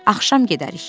Axşam gedərik.